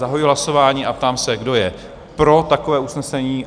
Zahajuji hlasování a ptám se, kdo je pro takové usnesení?